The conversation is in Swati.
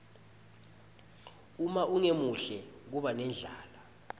uma ungemuhle kuba nendlala